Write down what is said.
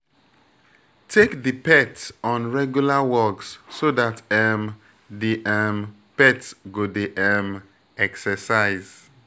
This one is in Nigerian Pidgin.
Take di pet on regular walks so dat um di um pet go dey um exercise